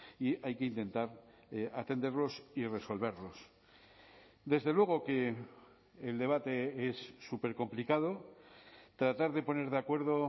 y hay que intentar atenderlos y resolverlos desde luego que el debate es supercomplicado tratar de poner de acuerdo